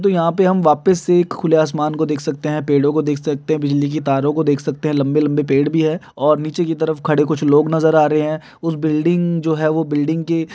तो यहां पे हम वापस से एक खुले आसमान को देख सकते हैं। पेड़ों को देख सकते हैं बिजली की तारों को देख सकते हैं लंबे-लंबे पेड़ भी है और नीचे की तरफ खड़े हुए कुछ लोग नजर आ रहे हैं उस बिल्डिंग जो है वो बिल्डिंग की --